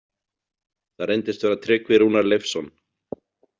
Það reyndist vera Tryggvi Rúnar Leifsson.